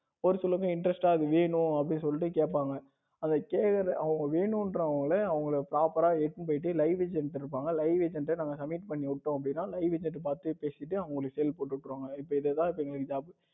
ஒரு சில பேர் interest டா வேணும் அப்படின்னு சொல்லிட்டு கேப்பாங்க அதைக் கேட்கிற அவங்க வேணுன்றாங்கனா அவங்களுக்கு proper றா எடுத்துனு போயிட்டு Live center இருப்பாங்க liveveg center அங்க submit பண்ணி விட்டோம் அப்படின்னா liveveg centre பார்த்து பேசிட்டு அவங்களுக்கு help போட்டு விட்டுருவாங்க இப்ப இதான் எங்களுக்கு job